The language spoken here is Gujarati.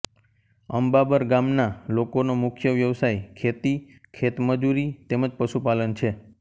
અંબાબર ગામના લોકોનો મુખ્ય વ્યવસાય ખેતી ખેતમજૂરી તેમ જ પશુપાલન છે